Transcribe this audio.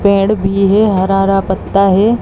पेड़ भी हे हरा-हरा पत्ता हे।